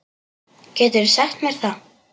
Geturðu sagt mér það?